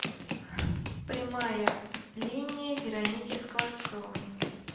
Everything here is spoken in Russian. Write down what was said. прямая линия вероники скворцовой